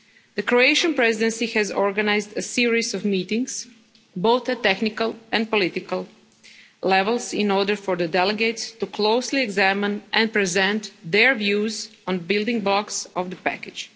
The Croatian Presidency has organised a series of meetings, both at technical and political levels, in order for the delegates to closely examine and present their views on the building blocks of the package.